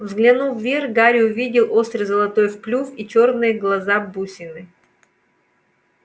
взглянув вверх гарри увидел острый золотой клюв и чёрные глаза-бусины